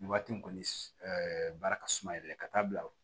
Nin waati in kɔni baara ka suma yɛrɛ ka taa bila